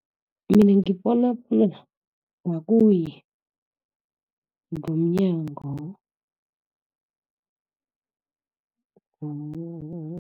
Mina ngibona bona, makuye ngomnyango